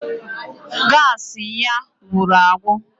Gaasị ya gwụrụ agwụ